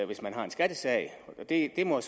hvis man har en skattesag det må